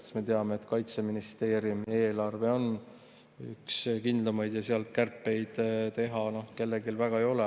Sest me teame, et Kaitseministeeriumi eelarve on üks kindlamaid ja sealt kärpeid teha kellelgi väga ei ole.